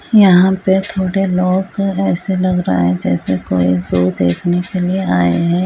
यहाँ पे थोड़े लोग ऐसे लग रहे है जैसे कोई शो देखने के लिए आये हैं।